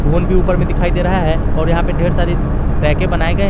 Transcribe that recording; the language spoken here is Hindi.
फोन भी ऊपर में दिखाई दे रहा है और यहां पर ढेर सारी रैके बनाए गए हैं।